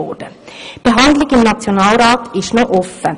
Die Behandlung im Nationalrat ist noch offen.